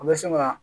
An bɛ se ka